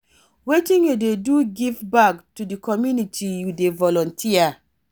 Wetin you dey do to give back to di community you dey volunteer?